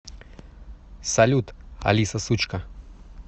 салют алиса сучка